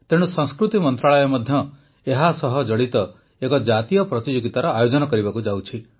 ତେଣୁ ସଂସ୍କୃତି ମନ୍ତ୍ରଣାଳୟ ମଧ୍ୟ ଏହାସହ ଜଡ଼ିତ ଏକ ଜାତୀୟ ପ୍ରତିଯୋଗିତାର ଆୟୋଜନ କରିବାକୁ ଯାଉଛି